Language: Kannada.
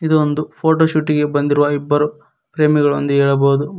ಇದು ಒಂದು ಫೋಟೋಶೂಟಿಗೆ ಬಂದಿರುವ ಇಬ್ಬರು ಪ್ರೇಮಿಗಳು ಎಂದು ಹೇಳಬಹುದು.